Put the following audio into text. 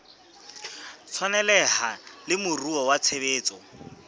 tshwaneleha le moruo wa tshebetso